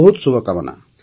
ବହୁତ ଶୁଭକାମନା